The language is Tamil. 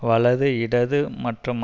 வலது இடது மற்றும்